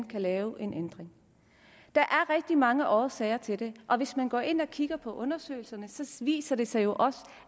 kan lave en ændring der er rigtig mange årsager til det og hvis man går ind og kigger på undersøgelserne viser det sig jo